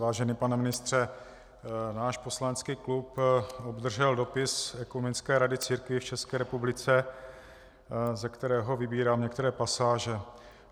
Vážený pane ministře, náš poslanecký klub obdržel dopis Ekumenické rady církví v České republice, ze kterého vybírám některé pasáže: